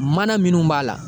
Mana minnu b'a la